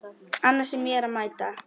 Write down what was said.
Annars er mér að mæta!